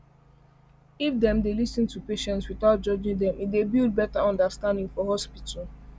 if dem dey lis ten to patients without judging them e dey build better understanding for hospital